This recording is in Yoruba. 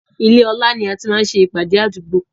Ilé ọlá ni a ti máa ń ṣe ìpàdé àdúgbò